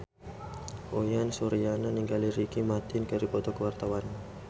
Uyan Suryana jeung Ricky Martin keur dipoto ku wartawan